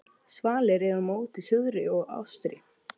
Svalir eru móti suðri og austri.